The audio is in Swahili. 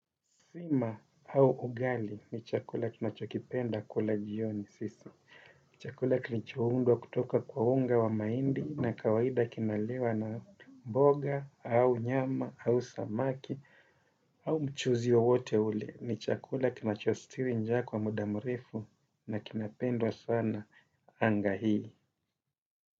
Sima au ugali ni chakula tunachokipenda kula jioni sisi. Chakula kinachoundwa kutoka kwa unga wa mahindi na kawaida kinaliwa na mboga, au nyama, au samaki, au mchuzi wowote ule. Ni chakula kinachostiri njaa kwa muda mrefu na kinapendwa sana anga hii.